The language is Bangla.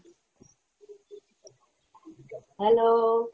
আমাদের বাড়ি কবে আসবেন? hello!